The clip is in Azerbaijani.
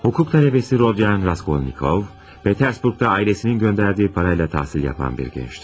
Hüquq tələbəsi Rodya Raskolnikov, Peterburqda ailəsinin göndərdiyi parayla təhsil yapan bir gəncdir.